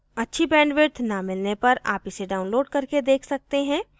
अच्छी bandwidth न मिलने पर आप इसे download करके देख सकते हैं